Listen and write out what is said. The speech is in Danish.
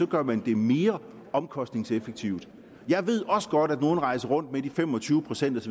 gør man det mere omkostningseffektivt jeg ved også godt at nogle rejser rundt med de fem og tyve procent